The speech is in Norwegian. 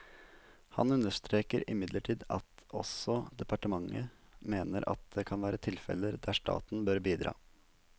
Han understreker imidlertid at også departementet mener at det kan være tilfeller der staten bør bidra.